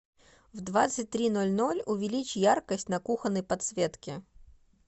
в двадцать три ноль ноль увеличь яркость на кухонной подсветке